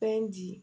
Fɛn di